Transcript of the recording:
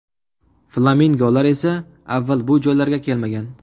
Flamingolar esa avval bu joylarga kelmagan.